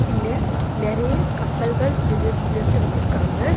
இங்க நெறைய கப்பல்கள் நின்னுட் நிறுத்த வெச்சிர்க்காங்க.